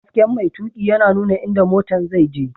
Hasken mai tuƙi yana nuna inda motan zai je.